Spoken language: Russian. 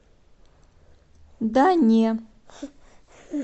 да не